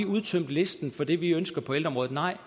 udtømt listen for det vi ønsker på ældreområdet nej